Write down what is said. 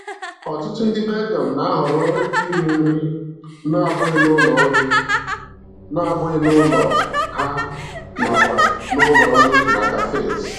Ọtụtụ ndị Belgium na-ahọrọ iri nri na-abụghị n'ụlọ nri na-abụghị n'ụlọ ha nakwa n'ụlọ nri na Cafes.